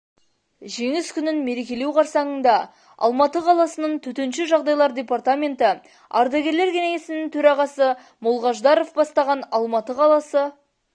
жеңіс күнін мерекелеу қарсаңында алматы қаласының төтенше жағдайлар департаменті ардагерлер кеңесінің төрағасы молғаждаров бастаған алматы қаласы